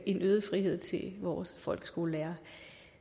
en øget frihed til vores folkeskolelærere